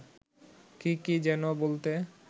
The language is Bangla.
কি কি যেন বলতে